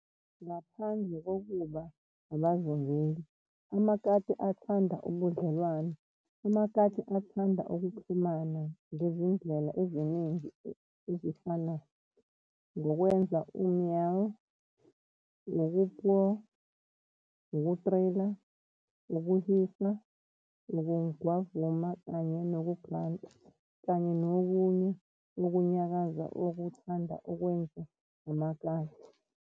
Ngaphandle kokuba abazingeli, amakati athanda ubudlelwane, amakati athanda ukuxhumana ngezindlela eziningi ezifana, ngokwenza u-meau, ukupurrr, ukuthrillla, ukuhisa, ukugwavuma kanye nokugranta, kanye nokunye ukunyakaza okuthandwa ukwenzwa ngamakati.